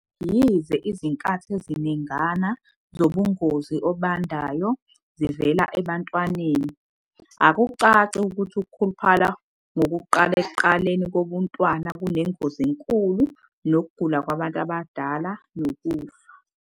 Yize izinkathi eziningana zobungozi obandayo zivela ebuntwaneni, akucaci ukuthi ukukhuluphala ngokuqala ekuqaleni kobuntwana kunengozi enkulu yokugula kwabantu abadala nokufa.